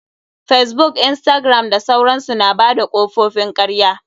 Facebook, instagram da sauransu. Na bada kofofin karya.